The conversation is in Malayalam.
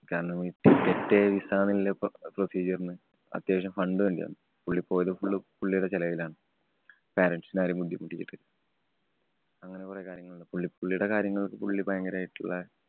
കാരണം ticket, visa എന്നുള്ള procedure ന് അത്യാവശ്യം fund വേണ്ടി വന്നു. പുള്ളി പോയത് പുള്ള് പുള്ളീടെ ചെലവിലാണ്. parents നെ ആരേം ബുദ്ധിമുട്ടിച്ചിട്ടില്ല. അങ്ങനെ കൊറേ കാര്യങ്ങള്‍ ഉണ്ട്. പുള്ളി പുള്ളീടെ കാര്യങ്ങള്‍ക്കു പുള്ളി ഭയങ്കരായിട്ടുള്ള